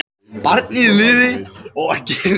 Barnið lifði og var gefið nafn móður sinnar.